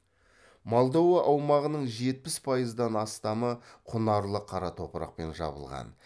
молдова аумағының жетпіс пайыздан астамы құнарлы қара топырақпен жабылған